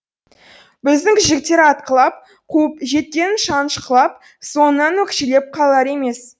біздің жігіттер атқылап қуып жеткенін шанышқылап соңынан өкшелеп қалар емес